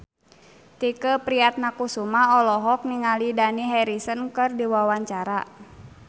Tike Priatnakusuma olohok ningali Dani Harrison keur diwawancara